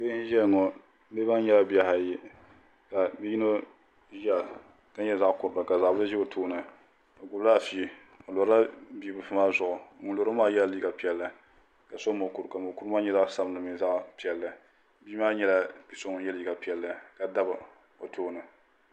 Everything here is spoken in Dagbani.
Bihi n ʒiya ŋo bihi maa nyɛla bihi ayi ka bia yino ʒiya ka nyɛ zaɣ kurili ka zaɣ bili ʒi o tooni o gbubila afi o lirila bibilfu maa zuɣu ŋun loro maa yɛla liiga piɛlli ka so mokuru ka mokuru maa nyɛ zaɣ sabinli mini zaɣ piɛlli bia maa nyɛla bia so ŋun yɛ liiga piɛlli ka dabi o tooni